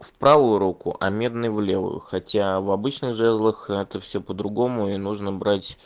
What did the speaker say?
в правую руку а медный в левую хотя в обычной жезлах это все по-другому и нужно брать